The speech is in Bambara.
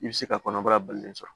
I bɛ se ka kɔnɔbara balolen sɔrɔ